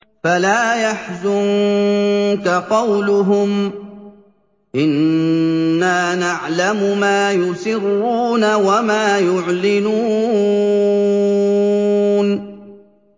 فَلَا يَحْزُنكَ قَوْلُهُمْ ۘ إِنَّا نَعْلَمُ مَا يُسِرُّونَ وَمَا يُعْلِنُونَ